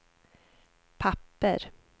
papper